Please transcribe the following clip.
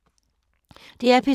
DR P3